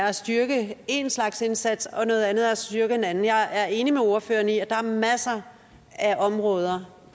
er at styrke én slags indsats og noget andet er at styrke en anden jeg er enig med ordføreren i at der er masser af områder